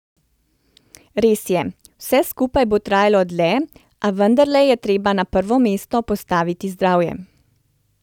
Res je, vse skupaj bo trajalo dlje, a vendarle je treba na prvo mesto postaviti zdravje.